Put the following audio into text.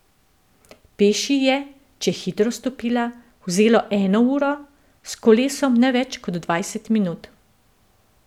Peš ji je, če je hitro stopila, vzelo eno uro, s kolesom ne več kot dvajset minut.